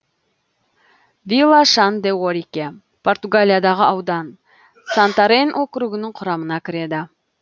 вила шан де орике португалиядағы аудан сантарен округінің құрамына кіреді